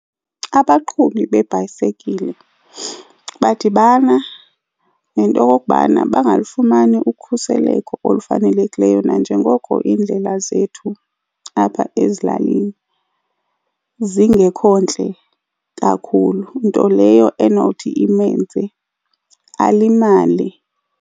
Abaqhubi beebhayisekile badibana nento yokokubana bangalifumani ukhuseleko olufanelekileyo nanjengoko iindlela zethu apha ezilalini zingekho ntle kakhulu. Nto leyo enothi imenze alimale.